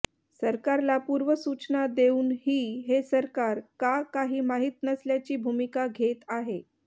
सरकारला पूर्व सूचना देऊन ही हे सरकर का कही माहीत नसल्याची भूमीका घेत अाहे